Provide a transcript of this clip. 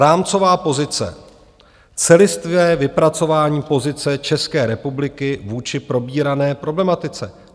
Rámcová pozice, celistvé vypracování pozice České republiky vůči probírané problematice.